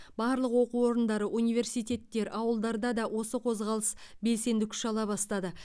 барлық оқу орындары университеттер ауылдарда осы қозғалыс белсенді күш ала бастады